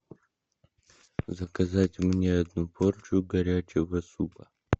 заказать мне одну порцию горячего супа